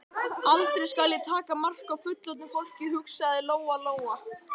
Aldrei skal ég taka mark á fullorðnu fólki, hugsaði Lóa-Lóa.